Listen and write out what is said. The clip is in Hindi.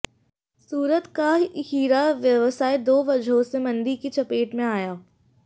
सूरत का हीरा व्यवसाय दो वजहों से मंदी की चपेट में आया